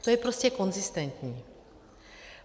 To je prostě konzistentní.